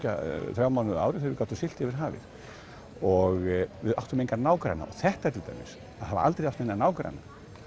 þrjá mánuði á ári þegar við gátum siglt yfir hafið og við áttum enga nágranna og þetta til dæmis að hafa aldrei átt neina nágranna